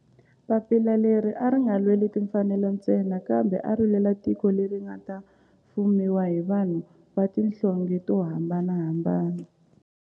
Papila leri a ri nga lweli timfanelo ntsena kambe ari lwela tiko leri nga ta fumiwa hi vanhu va tihlonge to hambanahambana.